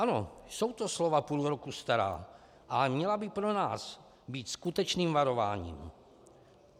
Ano, jsou to slova půl roku stará, ale měla by pro nás být skutečným varováním.